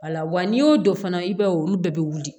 Wala wa n'i y'o dɔn fana i b'a ye olu bɛɛ bɛ wuli